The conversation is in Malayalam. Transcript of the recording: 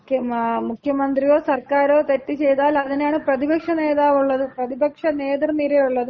മുഖ്യമന്ത്രിയോ സർക്കാരോ തെറ്റ് ചെയ്താൽ അതിനാണ് പ്രതിപക്ഷ നേതാവ് ഉള്ളത്. പ്രതിപക്ഷ നേതൃനിരയുള്ളത്. പിന്നെ